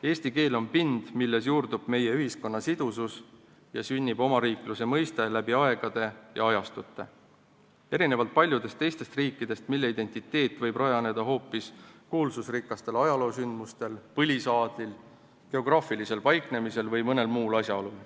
Eesti keel on pind, milles juurdub meie ühiskonna sidusus ja sünnib omariikluse mõiste läbi aegade ja ajastute, erinevalt paljudest teistest riikidest, mille identiteet võib rajaneda hoopis kuulsusrikastel ajaloosündmustel, põlisaadlil, geograafilisel paiknemisel või mõnel muul asjaolul.